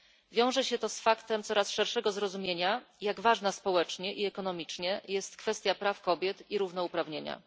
Wiąże się to z faktem coraz szerszego zrozumienia, jak ważna społecznie i ekonomicznie jest kwestia praw kobiet i równouprawnienia.